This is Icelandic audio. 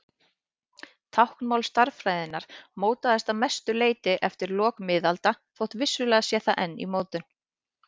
Táknmál stærðfræðinnar mótaðist að mestu eftir lok miðalda þótt vissulega sé það enn í mótun.